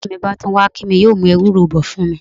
Bí ọ̀rẹ́ mi bá tún wá kí mi, yóò mú ewúro bọ̀ fún mi.